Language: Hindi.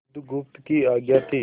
बुधगुप्त की आज्ञा थी